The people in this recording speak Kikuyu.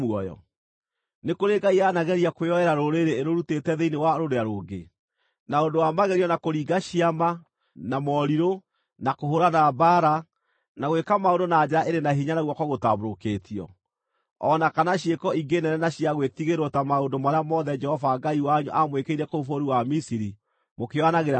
Nĩ kũrĩ ngai yanageria kwĩyoera rũrĩrĩ ĩrũrutĩte thĩinĩ wa rũrĩa rũngĩ, na ũndũ wa magerio, na kũringa ciama, na morirũ, na kũhũũrana mbaara, na gwĩka maũndũ na njara ĩrĩ na hinya na guoko gũtambũrũkĩtio; o na kana ciĩko ingĩ nene na cia gwĩtigĩrwo ta maũndũ marĩa mothe Jehova Ngai wanyu aamwĩkĩire kũu bũrũri wa Misiri mũkĩĩonagĩra na maitho?